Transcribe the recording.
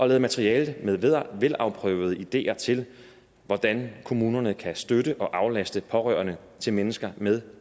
lavet materiale med velafprøvede ideer til hvordan kommunerne kan støtte og aflaste pårørende til mennesker med